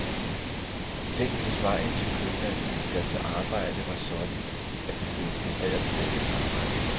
Tænk, hvis vejen til købmanden eller til arbejdet var sådan, at vi blev inspireret til dagens arbejde.